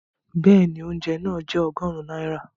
Bẹ́ẹ̀ni, oúnjẹ náà jẹ́ ọgọ́rùn-ún náírà